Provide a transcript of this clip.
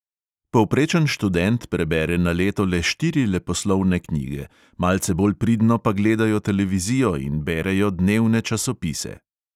Povprečen študent prebere na leto le štiri leposlovne knjige, malce bolj pridno pa gledajo televizijo in berejo dnevne časopise.